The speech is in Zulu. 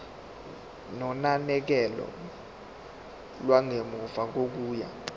nonakekelo lwangemuva kokuya